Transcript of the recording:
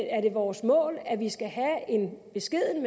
er det vores mål at vi skal have en beskeden